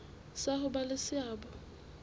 sa ho ba le seabo